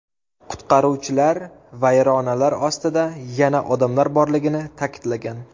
Qutqaruvchilar vayronalar ostida yana odamlar borligini ta’kidlagan.